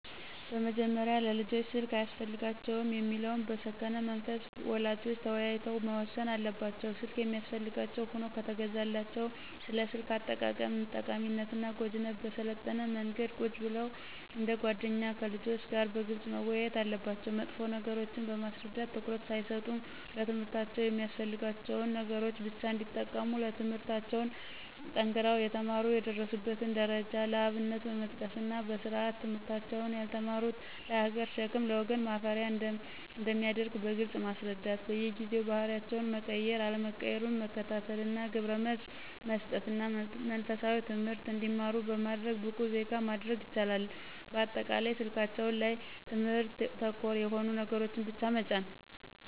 በመጀመሪያ ለልጆች ስልክ አያስፈልጋቸውም የሚለውን በሰከነ መንፈስ ወላጆች ተወያይተው መወሰን አለባቸው። ስልክ የሚያስፈልጋቸው ሁኖ ከተገዛላቸው ስለ ስልክ አጠቃቀም ጠቃሚነትና ጎጅነት በሰለጠነ መንገድ ቁጭ ብለው እንደ ጎደኛ ከልጆች ጋር በግልጽ መወያየት አለባቸው መጥፎ ነገሮችን በማስረዳት ትኩረት ሳይሰጡ ለትምህርታቸው የሚያስፈልጋቸውን ነገሮች ብቻ እንዲጠቀሙ ትምለህርታቸውን ጠንክረው የተማሩ የደረሱበትን ደረጃ ለአብነት በመጥቀስና በስርአት ትምህርታቸውን ያልተማሩት ለሀገር ሸክም ለወገን ማፈሪያ አንደሚያደርግ በግልጽ ማስረዳት በየጊዜው ባህሪያቸው መቀየር አለመቀየሩን መከታተልና ግብረመልስ መሰጠትና መንፈሳዊ ትምህርት እንዲማሩ በማድረግ ብቁ ዜጋ ማድረግ ይችላሉ። በአጠቃላይ ስልካቸው ላይ ትምህርት ተኮር የሆኑ ነገሮችን ብቻ መጫን